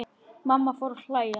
Mamma fór að hlæja.